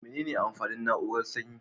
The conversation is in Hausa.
Mene ne amfanin na'urar sanyi?